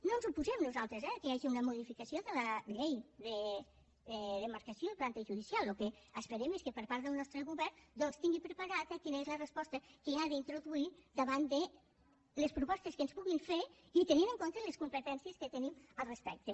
no ens oposem nosaltres eh que hi hagi una modificació de la llei de demarcació i planta judicial el que esperem és que per part del nostre govern doncs es tingui preparada quina és la resposta que ha d’introduir davant de les propostes que ens puguin fer i tenint en compte les competències que tenim al respecte